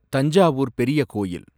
தஞ்சாவூர் பெரிய கோயில்